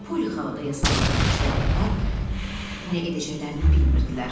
Poli xala da yasa batmışdı, onlar nə edəcəklərini bilmirdilər.